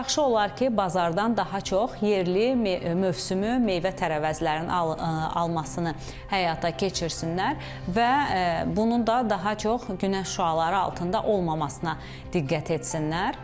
Yaxşı olar ki, bazardan daha çox yerli, mövsümü meyvə-tərəvəzlərini almasını həyata keçirsinlər və bunun da daha çox günəş şüaları altında olmamasına diqqət etsinlər.